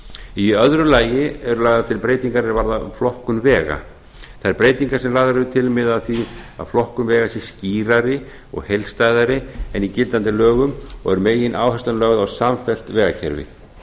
í öðru lagi eru lagðar til breytingar er varða flokkun vega þær breytingar sem lagðar eru til að flokkun vega sé skýrari og heildstæðari en í gildandi lögum og er megináherslan lögð á samfellt vegakerfi